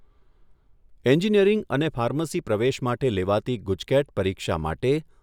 engineering અને pharmacy પ્રવેશ માટે લેવાતી ગુજકેટ પરીક્ષા માટે